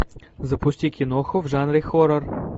запусти киноху в жанре хоррор